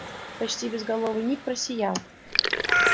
почти безголовый ник просиял